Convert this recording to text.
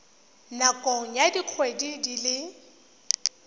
nakong ya dikgwedi di le